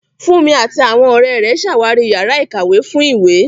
Funmi àti àwọn ọ̀rẹ́ rẹ̀ ṣàwárí yàrá ìkàwé fún ìwé.